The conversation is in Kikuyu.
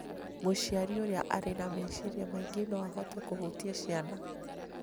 Mũciari ũrĩa arĩ na meciria maingĩ no ahote kũhutia ciana,